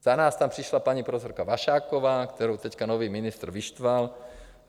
Za nás tam přišla paní profesorka Vašáková, kterou teď nový ministr vyštval.